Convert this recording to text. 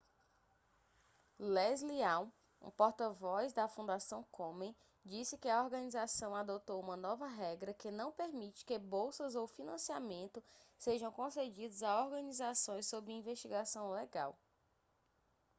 leslie aun um porta-voz para a fundação komen disse que a organização adotou uma nova regra que não permite que bolsas ou financiamento sejam concedidos a organizações sob investigação legal